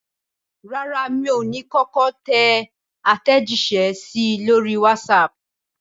Rárá, mi ò ní kọ́kọ́ tẹ àtẹ̀jíṣẹ́ sí i lórí wásaàpù.